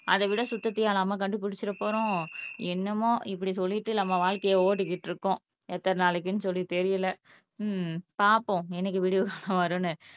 அதை விட சுத்தத்தையா நம்ம கண்டுபிடிச்சிட போறோம் என்னமோ இப்படி சொல்லிட்டு நம்ம வாழ்க்கையை ஓட்டிக்கிட்டு இருக்கோம் எத்தனை நாளைக்குன்னு சொல்லி தெரியல உம் பார்ப்போம் என்னைக்கு விடிவு காலம் வரும்னு